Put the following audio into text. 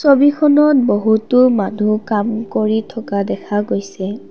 ছবিখনত বহুতো মানুহ কাম কৰি থকা দেখা গৈছে।